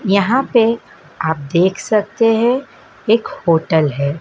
यहां पे आप देख सकते हैं एक होटल है।